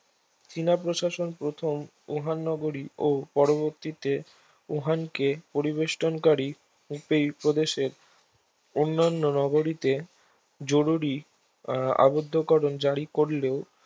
চীনা প্রশাসন প্রথম উহান নগরী ও পরবর্তীতে উহানকে পরিবেষ্টনকারী একটি প্রদেশের অন্যান্য নগরীতে জরুরী আবদ্ধকরন জারী করলেও